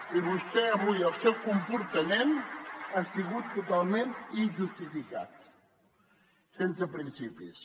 i avui el seu comportament ha sigut totalment injustificat sense principis